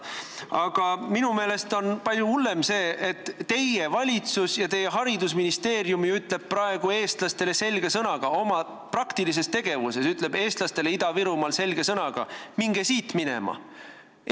Aga minu meelest on palju hullem see, et teie valitsus ja teie haridusministeerium ütleb praegu oma praktilises tegevuses eestlastele Ida-Virumaal selge sõnaga: minge siit minema!